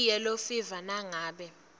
iyellow fever nangabe